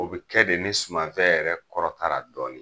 O be kɛ de ni sumanfɛn yɛrɛ kɔrɔtara dɔɔni.